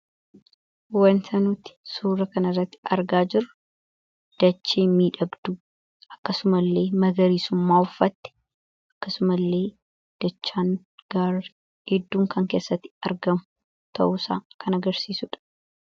wanta nuti suura kana irratti argaa jirru dachii miidhagduu akkasumas illee magariisummaa uffaatte akkasuma illee dachaan gaaddidduun kan keessatti argamu ta'usa kan agarsiisuudha